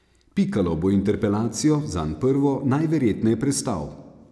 Pikalo bo interpelacijo, zanj prvo, najverjetneje prestal.